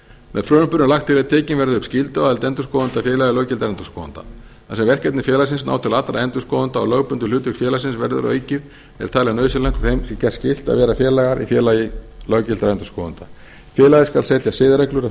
með frumvarpinu er lagt til að tekin verði upp skylduaðild endurskoðenda að félagi löggiltra endurskoðenda þar sem verkefni félagsins ná til allra endurskoðenda og lögbundið hlutverk félagsins verður aukið er talið nauðsynlegt að þeim sé gert skylt að vera félagar í félagi löggiltra endurskoðenda félagið skal setja siðareglur að